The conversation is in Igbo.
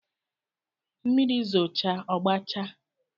Mmiri zooche ọgbachaa